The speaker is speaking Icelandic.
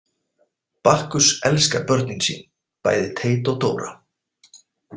Bakkus elskar börnin sín, bæði Teit og Dóra.